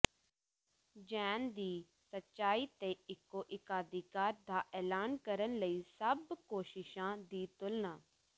ਜੈਨ ਦੀ ਸੱਚਾਈ ਤੇ ਇਕੋ ਏਕਾਧਿਕਾਰ ਦਾ ਐਲਾਨ ਕਰਨ ਲਈ ਸਭ ਕੋਸ਼ਿਸਾਂ ਦੀ ਤੁਲਨਾ